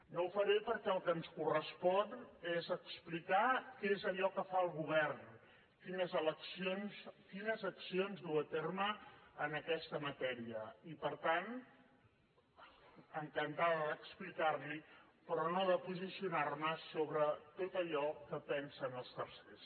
no ho faré perquè el que ens correspon és explicar què és allò que fa el govern quines accions duu a terme en aquesta matèria i per tant encantada d’explicar li ho però no de posicionar me sobre tot allò que pensen els tercers